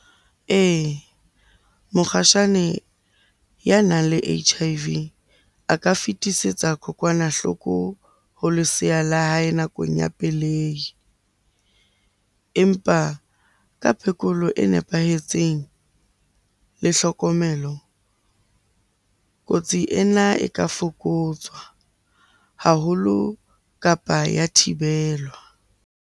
Ee, mokgatjhane ya nang le H_I_V a ka fetisetsa kokwanahloko ho leseya la hae nakong ya pelehi. Empa ka phekolo e nepahetseng le hlokomelo, kotsi ena e ka fokotsa haholo, kapa ya thibelo.